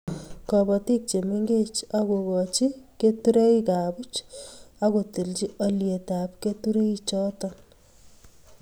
Kobotik chemengech akokocj keturekab buch akotilchi olyetab keturechoto